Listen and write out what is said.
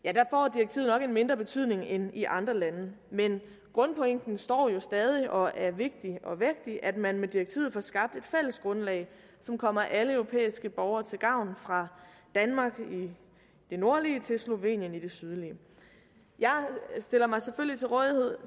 og en mindre betydning end i andre lande men grundpointen står jo stadig og er vigtig og vægtig nemlig at man med direktivet får skabt et fælles grundlag som kommer alle europæiske borgere til gavn fra danmark i det nordlige til slovenien i det sydlige jeg stiller mig selvfølgelig til rådighed